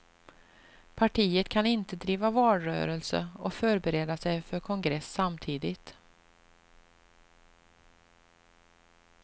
Partiet kan inte driva valrörelse och förbereda sig för kongress samtidigt.